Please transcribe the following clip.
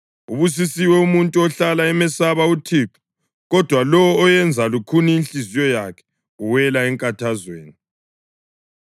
Ubusisiwe umuntu ohlala emesaba uThixo, kodwa lowo oyenza lukhuni inhliziyo yakhe uwela enkathazweni.